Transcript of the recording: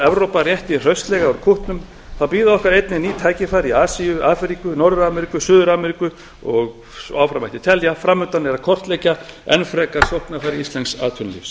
evrópa rétti hraustlega úr kútnum bíða okkar einnig ný tækifæri í asíu afríku norður ameríku suður ameríku og áfram mætti telja fram undan er að kortleggja enn frekar sóknarfæri íslensks atvinnulífs